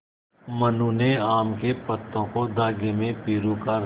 मनु ने आम के पत्तों को धागे में पिरो कर